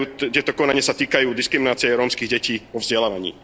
Tieto konania sa týkajú diskriminácie rómskych detí vo vzdelávaní.